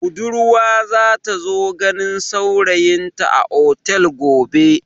Budurwa za ta zo ganin saurayinta a otel gobe.